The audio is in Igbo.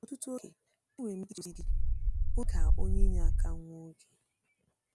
Ọtụtụ oge, enwere m ike ije ozi dị ije ozi dị ka onye inyeaka nwa oge.